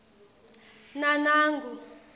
nanangu